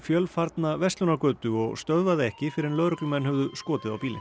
fjölfarna verslunargötu og stöðvaði ekki fyrr en lögreglumenn höfðu skotið á bílinn